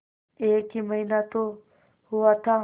एक ही महीना तो हुआ था